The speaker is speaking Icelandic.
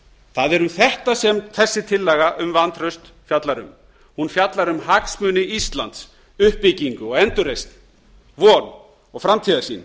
það er um þetta sem þessi tillaga um vantraust fjallar um hún fjallar um hagsmuni íslands uppbyggingu og endurreisn von og framtíðarsýn